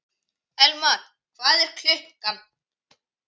Elmar, hvað er klukkan?